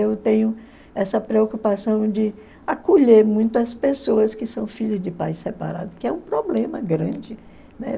Eu tenho essa preocupação de acolher muito as pessoas que são filhos de pais separados, que é um problema grande, né?